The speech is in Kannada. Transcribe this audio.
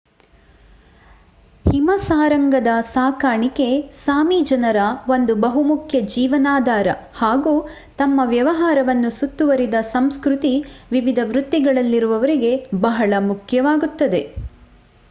ಹಿಮಸಾರಂಗದ ಸಾಕಾಣಿಕೆ ಸಾಮಿ ಜನರ ಒಂದು ಬಹುಮುಖ್ಯ ಜೀವನಾಧಾರ ಹಾಗೂ ತಮ್ಮ ವ್ಯವಹಾರವನ್ನು ಸುತ್ತುವರಿದ ಸಂಸ್ಕ್ರತಿ ವಿವಿಧ ವೃತ್ತಿಗಳಲ್ಲಿರುವರಿಗೆ ಬಹಳ ಮುಖ್ಯವಾಗುತ್ತದೆ